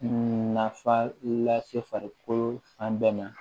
Nafa lase farikolo fan bɛɛ ma